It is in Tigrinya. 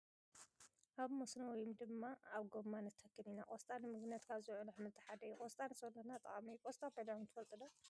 ኣብ መስኖ ወይ ድማ ኣብ ጎማ ንተክል ኢና ።ቆስጣ ንምግብነት ካብ ዝውዕል ኣሕምልቲ ሓደ እዩ ። ቆስጣ ንሰውነትና ጠቃሚ እዩ ። ቆስጣ በሊዕኩም ትፈልጡ ዶ ?